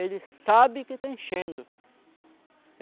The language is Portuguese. Ele sabe que está enchendo.